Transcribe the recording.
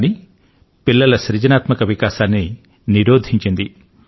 కాని పిల్లల సృజనాత్మక వికాసాన్ని నిరోధించింది